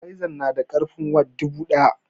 Satabilzan na da karfin watts dubu daya